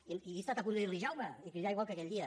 i he estat a punt de dir li jaume i cridar igual que aquell dia